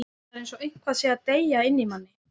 Það er eins og eitthvað sé að deyja inni í manni.